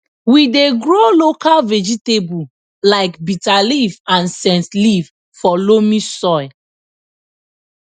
we dey grow local vegetable like bitterleaf and scentleaf for loamy soil